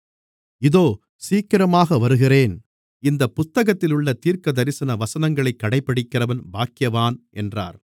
இதோ சீக்கிரமாக வருகிறேன் இந்தப் புத்தகத்திலுள்ள தீர்க்கதரிசன வசனங்களைக் கடைபிடிக்கிறவன் பாக்கியவான் என்றார்